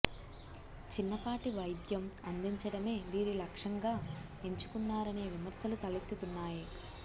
చిన్నపాటి వైద్యం అందిం చడమే వీరి లక్షంగా ఎంచుకున్నారనే విమర్శలు తలెత్తుతున్నాయి